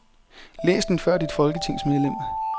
Læs den før dit folketingsmedlem.